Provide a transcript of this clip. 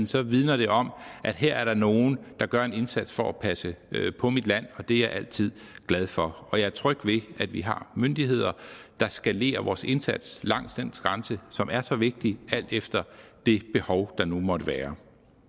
så vidner det om at her er der nogen der gør en indsats for at passe på mit land og det er jeg altid glad for og jeg er tryg ved at vi har myndigheder der skalerer vores indsats langs den grænse som er så vigtig alt efter det behov der nu måtte være